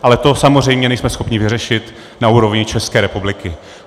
Ale to samozřejmě nejsme schopni vyřešit na úrovni České republiky.